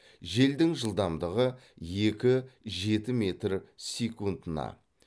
желдің жылдамдығы екі жеті метр секундына